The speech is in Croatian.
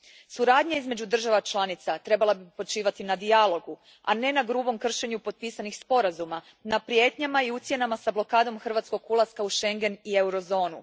Suradnja između država članica trebala bi počivati na dijalogu, a ne na grubom kršenju potpisanih sporazuma, na prijetnjama i ucjenama sa blokadom hrvatskog ulaska u Schengen i Eurozonu.